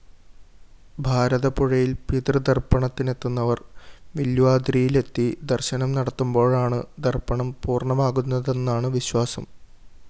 ഭാരതപ്പുഴയില്‍ പിതൃതര്‍പ്പണത്തിനെത്തുന്നവര്‍ വില്വാദ്രിയിലെത്തി ദര്‍ശനം നടത്തുമ്പോഴാണ് തര്‍പ്പണം പൂര്‍ണമാകുന്നതെന്നാണു വിശ്വാസം